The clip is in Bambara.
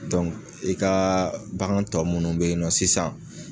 i ka bagan tɔ minnu bɛ yen nɔ sisan